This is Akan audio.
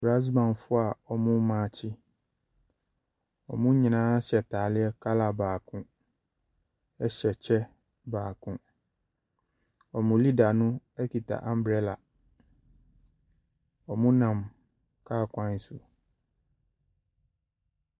Brass bandfoɔ a wɔremaakye, wɔn nyinaa hyɛ ataare colour baako hyɛ kyɛ baako. Wɔn leader no kita umbrella, wɔnam kaa kwan so.